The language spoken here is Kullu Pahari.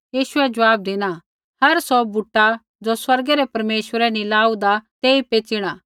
यीशुऐ ज़वाब धिना हर सौ बूटा ज़ो स्वर्गै रै परमेश्वरै नी लाऊदा तेई पेच़िणा